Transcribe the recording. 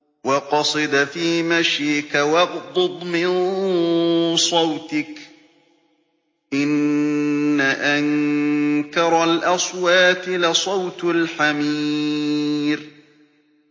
وَاقْصِدْ فِي مَشْيِكَ وَاغْضُضْ مِن صَوْتِكَ ۚ إِنَّ أَنكَرَ الْأَصْوَاتِ لَصَوْتُ الْحَمِيرِ